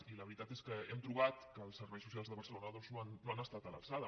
i la veritat és que hem trobat que els serveis socials de barcelona doncs no han es·tat a l’alçada